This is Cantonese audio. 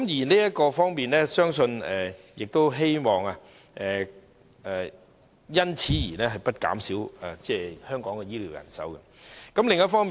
在這方面，我亦希望不會因此而減少香港的醫療人手。